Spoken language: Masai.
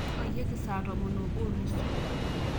nyoyieki saa tomon oobo o nusu